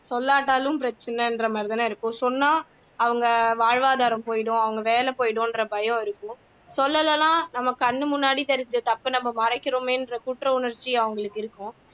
சொல்லாட்டாலும் பிரச்சினைன்ற மாதிரிதான இருக்கும் சொன்னா அவங்க வாழ்வாதாரம் போயிரும் அவங்க வேலை போயிடுங்கிற பயம் சொல்லலைனா கண்ணு முன்னாடி தெரிஞ்ச தப்ப நம்ம மறைக்கிறோமேன்ற குற்ற உணர்ச்சி அவங்களுக்கு இருக்கும்